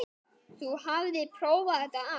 Þú hafðir prófað þetta allt.